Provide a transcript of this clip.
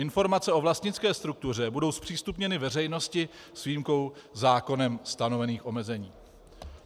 Informace o vlastnické struktuře budou zpřístupněny veřejnosti s výjimkou zákonem stanovených omezení."